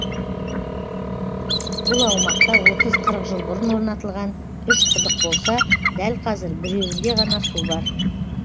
бұл аумақта отыз қырық жыл бұрын орнатылған үшеуін құдық болса дәл қазір біреуінде ғана су бар